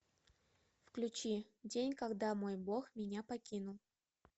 включи день когда мой бог меня покинул